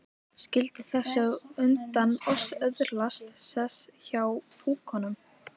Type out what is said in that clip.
Skyldi þessi á undan oss öðlast sess hjá púkunum?